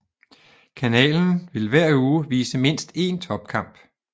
Kanalen vil hver uge vise mindst én topkamp